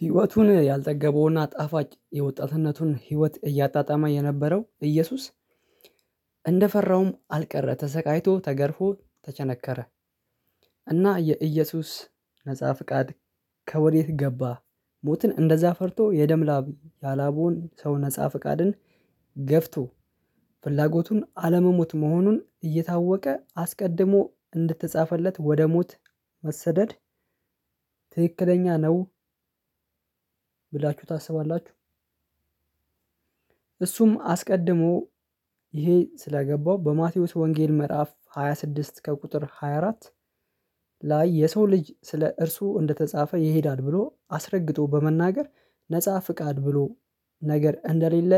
ህይወቱን ያልጠገበውና ጣፋጭ የወጣትነቱን ህይወት እያጣጣመ የነበረው እየሱስ እንደፈራውም አልቀረ ተሰቃይቶ ተገርፎ ተቸነከረ እና የኢየሱስ ነፃ ፍቃድ ከወዴት ገባ ሞትን እንደዛ ፈርቶ የደም ላብ ያላበውን ሰው ነፃ ፍቃድን ገፍቶ ፍላጎቱን አለመሞት መሆኑን እየታወቀ አስቀድሞ እንድትጻፈለት ወደ ሞት መሰደድ ትክክለኛ ነው ብላችሁ ታስባላችሁ? እሱም አስቀድሞ ይሄ ስለገባው በማቴዎስ ወንጌል ምዕራፍ ሃያ ስድስት ከቁጥር ሃያ አራት ላይ የሰው ልጅ ስለ እርሱ እንደተጻፈ ይሄዳል ብሎ አስረግጦ በመናገር ነፃ ፍቃድ ብሎ ነገር እንደሌለ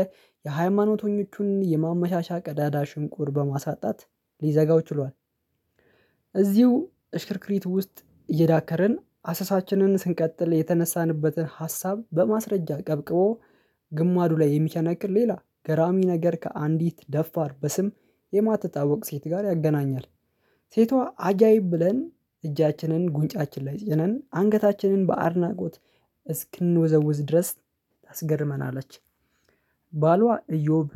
የሃይማኖተኞቹን የማመሻሻ ቀዳዳ ሽንቁር በማሳጣት ሊዘጋው ችሏል። እዚሁ እሽክርክሪት ውስጥ እየዳከርን አሰሳችንን ስንቀጥል የተነሳንበትን ሀሳብ በማስረጃ ቀብቅቦ ግማዱ ላይ የሚቸነክር ሌላ ገራሚ ነገር ከአንዲት ደፋር በስም የማትታወቅ ሴት ጋር ያገናኛል ሴቷ አጃይብ ብለን እጃችንን ጉንጫችን ላይ ጭነን አንገታችንን በአድናቆት እስክንወዘውዝ ድረስ አስገርመናለች። ባሏ እዮብ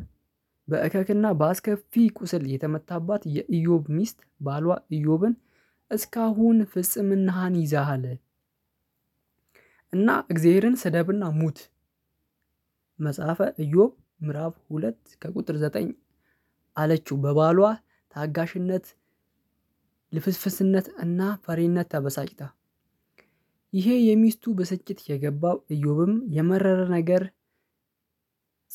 በእከክና በአስከፊ ቁስል የተመታባት የእዮብ ሚስት ባሏ እዮብን እስካሁን ፍጽምናሃን ይዛሃል እና እግዚአብሔርን ስደብና ሙት። መጽሐፈ እዮብ ምዕራፍ ሁለት ከቁጥር ዘጠኝ አለችው በባሏ ታጋሽነት ልፍስፍስነት እና ፈሪነት ተበሳጭታ ይሄ የሚስቱ በስጭት የገባው እዮብም የመረረ ነገር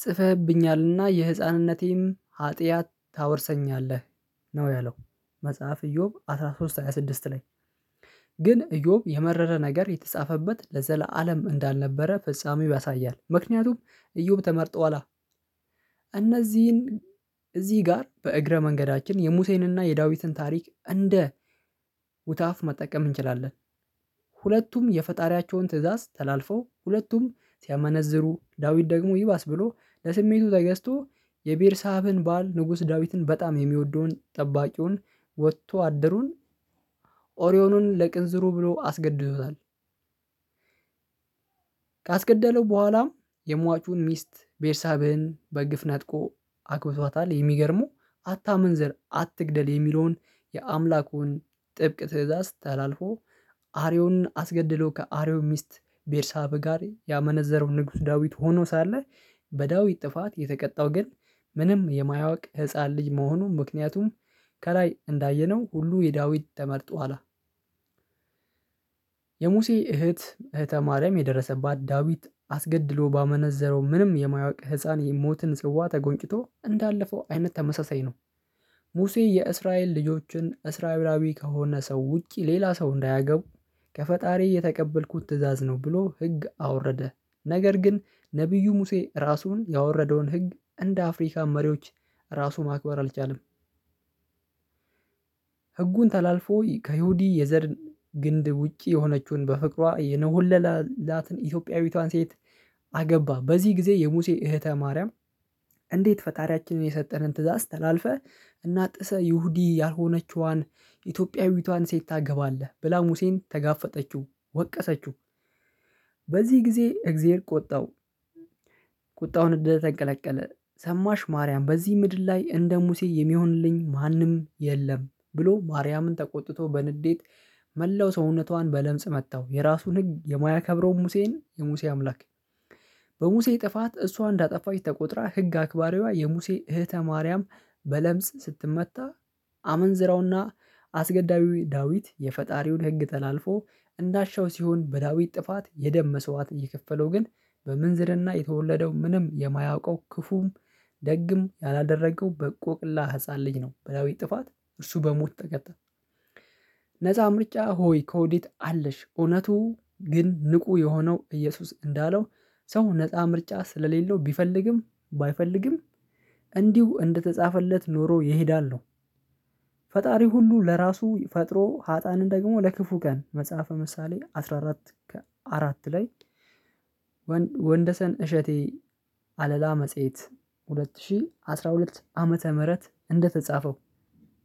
ጽፈህብኛልና የህፃንነቴም ሀጥያት ታወርሰኛለህ ነው ያለው። መጽሐፍ እዮብ አስራ ሶስት ሃያ ስድስት ላይ ግን እዮብ የመረረ ነገር የተጻፈበት ለዘላለም እንዳልነበረ ፍጻሜው ያሳያል ምክንያቱም እዮብ ተመርጠዋላ። እነዚህን እዚህ ጋር በእግረ መንገዳችን የሙሴንና የዳዊትን ታሪክ እንደ ውትሃፍ መጠቀም እንችላለን። ሁለቱም የፈጣሪያቸውን ትእዛዝ ተላልፈው ሁለቱም ሲያመነዝሩ ዳዊት ደግሞ ይባስ ብሎ ለስሜቱ ተገዝቶ የቤርሳብን ባል ንጉስ ዳዊትን በጣም የሚወደውን ጠባቂውን ወጥቶ አደሩን ኦሪዮኑን ለቅንዝሩ ብሎ አስገድዞታል። ካስገደለው በኋላም የሟቹን ሚስት ቤርሳብህን በግፍ ነጥቆ አግብቷታል። የሚገርሙ አታምን ዘር አትግደል የሚለውን የአምላኩን ጥብቅ ትእዛዝ ታላልፎ አርዮንን አስገድሎ ከአርዮን ሚስት ቤርሳብ ጋር ያመነዘረው ንጉስ ዳዊት ሆኖ ሳለ። በዳዊት ጥፋት የተቀጣው ግን ምንም የማያውቅ ህፃን ልጅ መሆኑን ምክንያቱም ከላይ እንዳየነው ሁሉ የዳዊት ተመርጦ አላ የሙሴ እህት እህተ ማርያም የደረሰባት ዳዊት አስገድሎ ባመነዘረው ምንም የማያውቅ ህፃን የሞትን ጽዋ ተጎንጭቶ እንዳለፈው አይነት ተመሳሳይ ነው። ሙሴ የእስራኤል ልጆችን እስራኤላዊ ከሆነ ሰው ውጪ ሌላ ሰው እንዳያገቡ ከፈጣሪ እየተቀበልኩት ትእዛዝ ነው ብሎ ህግ አወረደ። ነገር ግን ነብዩ ሙሴ ራሱን ያወረደውን ህግ እንደ አፍሪካ መሪዎች ራሱ ማክበር አልቻለም። ህጉን ተላልፎ ከይሁዲ የዘር ግንድ ውጪ የሆነችውን በፍቅሯ የነሆለላትን ኢትዮጵያዊቷን ሴት አገባ። በዚህ ጊዜ የሙሴ እህተ ማርያም እንዴት ፈጣሪያችንን የሰጠህን ትእዛዝ ተላልፈህ እናጥሰህ ይሁዲ ያልሆነችዋን ኢትዮጵያዊቷን ሴት ታገባለህ ብላ ሙሴን ተጋፈጠችው። ወቀሰችው በዚህ ጊዜ እግዚአብሔር ቆጣው። ቁጣውን እንደተንቀለቀለ ሰማሽ ማርያም በዚህ ምድር ላይ እንደ ሙሴ የሚሆንልኝ ማንም የለም ብሎ ማርያምን ተቆጥቶ በንዴት መላው ሰውነቷን በለምጽ መጣው የራሱን ህግ የሙያ ያከብረውን ሙሴን የሙሴ አምላክ። በሙሴ ጥፋት እሷ እንዳጠፋች ተቆጥራ ህግ አክባራዊ የሙሴ እህተ ማርያም በለምጽ ስትመታ። አመንዝረውና አስገዳዊ ዳዊት የፈጣሪውን ህግ ተላልፎ እናሻው ሲሆን በዳዊት ጥፋት የደም መስዋት ይከፈለው ግን በምንዝርና የተወለደው ምንም የማያውቀው ክፉም ደግሞ ያላደረገው በቆቅላ ህፃን ልጅ ነው በዳዊት ጥፋት እርሱ በሞት ተቀጣ። ነፃ ምርጫ ሆይ ከወዲት አለሽ? እውነቱ ግን ንቁ የሆነው እየሱስ እንዳለው ሰው ነፃ ምርጫ ስለሌለው ቢፈልግም ባይፈልግም እንዲሁ እንደተጻፈለት ኖሮ ይሄዳል ነው። ፈጣሪ ሁሉ ለራሱ ፈጥሮ ሀጣንን ደግሞ ለክፉ ቀን መጽሐፈ ምሳሌ አስራ አራት ከአራት ላይ ወንደሰን እሸቴ አለላ መጽሄት ሁለት ሺህ አስራ ሁለት ዓመተ ምህረት እንደተጻፈው።